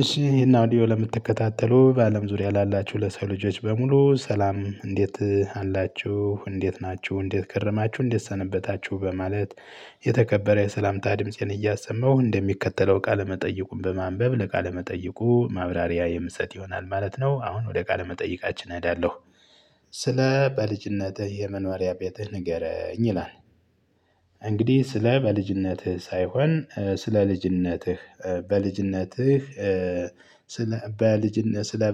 እሺ ይሄን አውዲዮ ለምትከታተሉ በአለም ዙሪያ ላላችሁ ለሰው ልጆዎች በሙሉ ሰላም እንዴት አላችሁ እንዴት ናችሁ እንዴት ከረማችሁ እንዴት ሰነበታችሁ በማለት የተከበረ የሰላምታ ድምፄን እያሰማሁ እንደሚከተለው ቃለመጠይቁን በማንበብ ለቃለመጠይቁ ማብራሪያ የምሰጥ ይሆናል ማለት ነው አሁን ወደ ቃለመጠይቃችን እሄዳለሁ ስለ በልጅነትህ የመኖሪያ ቤትህ ንገረኝ ይላል። እንግዲህ ስለ በልጅነትህ ሳይሆን ስለ ልጅነትህ በልጅነትህ ስለ በልጅ ስለ